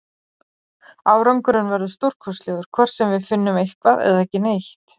Árangurinn verður stórkostlegur, hvort sem við finnum eitthvað eða ekki neitt.